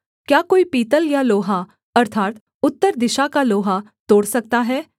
क्या कोई पीतल या लोहा अर्थात् उत्तर दिशा का लोहा तोड़ सकता है